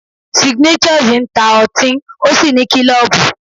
Signatures ń ta otín ó sì ní klọ́ọ̀bù.